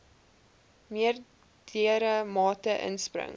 meerdere mate inspring